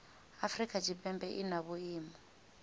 afrika tshipembe i na vhuimo